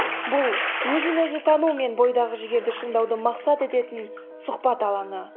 бұл өзін өзі тану мен бойдағы жігерді шыңдауды мақсат ететін сұхбат алаңы